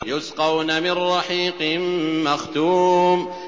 يُسْقَوْنَ مِن رَّحِيقٍ مَّخْتُومٍ